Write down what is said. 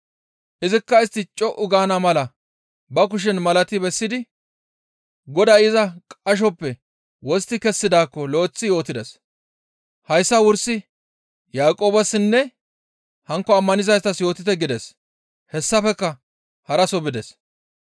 Izikka istti co7u gaana mala ba kushen malati bessidi Goday iza qashosoppe wostti kessidaakko lo7eththi yootides. «Hayssa wursi Yaaqoobessinne hankko ammanizaytas yootite» gides. Hessafekka haraso bides.